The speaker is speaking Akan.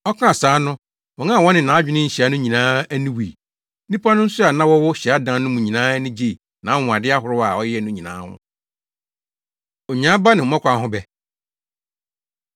Ɔkaa saa no, wɔn a na wɔne nʼadwene nhyia no nyinaa ani wui. Nnipa no nso a na wɔwɔ hyiadan no mu nyinaa ani gyee nʼanwonwade ahorow a ɔyɛe no nyinaa ho. Onyaa Aba Ne Mmɔkaw Ho Bɛ